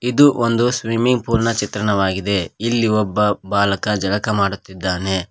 ಇದು ಒಂದು swimming pool ನ ಚಿತ್ರಣವಾಗಿದೆ ಇಲ್ಲಿ ಒಬ್ಬ ಬಾಲಕ ಜಳಕ ಮಾಡುತ್ತಿದ್ದಾನೆ.